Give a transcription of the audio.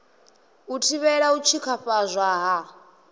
u thivhela u tshikafhadzwa ha